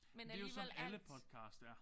Men det jo sådan alle podcast er